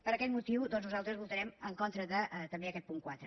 per aquest motiu doncs nosaltres votarem en contra també d’aquest punt quatre